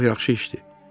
Bu çox yaxşı işdir.